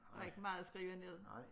Der ikke meget at skrive ned